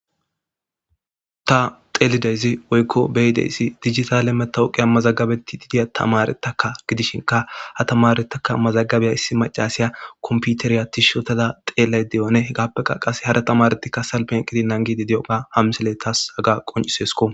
ta xelidayzi woykko beyideyssi digitale metawoqiya mazagabetti didiya tamaretaka gidishinka ha tamaretaka mazagabeya issi macasiya komputeriya tishotada xeelay de7one h gaappe qaqas hara tamaretikka salpen qidi nangidi di7oga hamsele taas haga qoncisesko